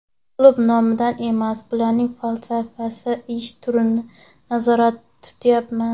Klub nomini emas, uning falsafasi, ish turini nazarda tutyapman.